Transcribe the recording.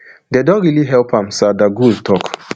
dem don really help am sardar gul tok